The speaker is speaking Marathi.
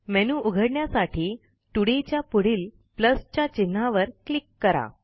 मेनू उघण्यासाठी तोडाय च्या पुढील च्या चिन्हावर क्लिक करा